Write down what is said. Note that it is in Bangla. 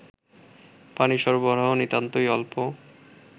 পানি সরবরাহ নিতান্তই অল্প